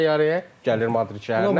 Minir təyyarəyə gəlir Madrid şəhərinə.